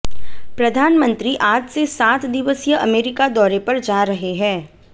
प्रधानमंत्री आज से सात दिवसीय अमेरिका दौरे पर जा रहे है